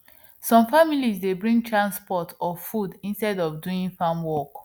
some families dey bring transport or food instead of doing farm work